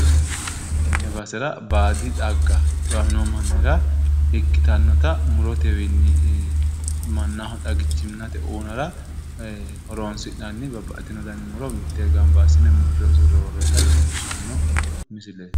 Tenne basera baadi xagga xiwamino mannira ikkitannota murotewiinni mannaho xagichimmate uunare horoonsi'nanni babbaxxitino dani muro mittee gamba assine murre usurre worroyeeta leellishshanno misileeti.